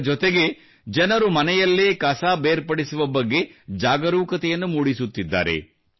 ಇದರ ಜೊತೆಗೆ ಜನರು ಮನೆಯಲ್ಲೇ ಕಸವನ್ನು ಬೇರ್ಪಡಿಸುವ ಬಗ್ಗೆ ಜಾಗರೂಕತೆಯನ್ನು ಮೂಡಿಸುತ್ತಿದ್ದಾರೆ